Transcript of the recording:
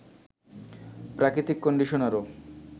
প্রাকৃতিক কন্ডিশনারও